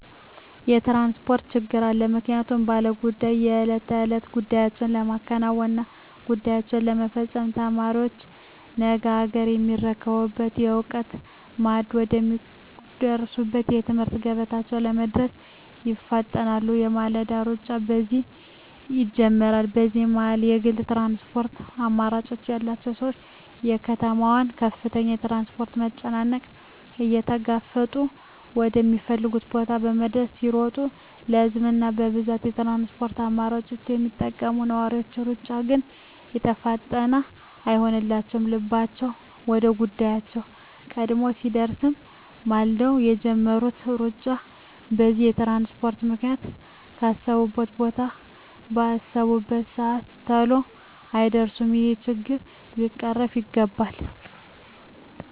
የትራንስፖርት ችግር አለ ምክንያቱም ባለ ጉዳዮች የእለት ተእለት ጉዳያቸዉን ለማከናወን እና ጉዳያቸዉን ለመፈፀም፣ ተማሪዎች ነገ አገርየሚረከቡበትን የእዉቀት ማዕድ ወደ ሚቋደሱበት የትምህርት ገበታቸዉ ለመድረስ ይፋጠናሉ የማለዳዉ ሩጫ በዚህ ይጀምራል በዚህ መሀል የግል ትራንስፖርት አማራጭ ያላቸዉ ሰዎች የከተማዋን ከፍተኛ የትራፊክ መጨናነቅ እየተጋፈጡ ወደ ሚፈልጉት ቦታ ለመድረስ ሲጥሩ በህዝብ እና በብዙኀን የትራንስፖርት አማራጮች የሚጠቀሙ ነዋሪዎች ሩጫ ግን የተፋጠነ አይሆንላቸዉም ልባቸዉ ወደ ጉዳያቸዉ ቀድሞ ቢደርስም ማልደዉ የጀመሩት ሩጫ በዚህ በትራንስፖርት ምክንያት ካሰቡት ቦታ ባሰቡበት ሰአት ተሎ አይደርሱም ይሄ ችግር ሊቀረፍ ይገባል